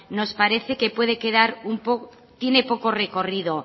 nos parece que tiene poco recorrido